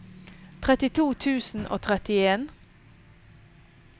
trettito tusen og trettien